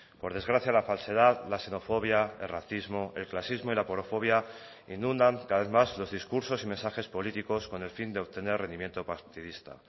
por desgracia la falsedad la xenofobia el racismo el clasismo y la inundan cada vez más los discursos y mensajes políticos con el fin de obtener rendimiento